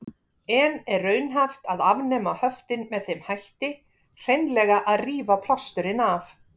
En er raunhæft að afnema höftin með þeim hætti, hreinlega að rífa plásturinn af?